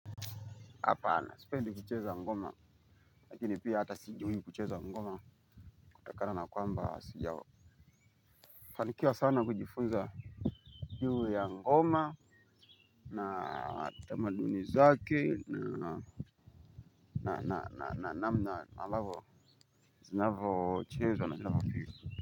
Hapana sipendi kucheza ngoma, lakini pia hata sijui kucheza ngoma kutokana na kwamba sijao. Fanikiwa sana kujifunza juu ya ngoma na tamaduni zake na namna ambavyo, zinavyochezwa na zinavyopigwa.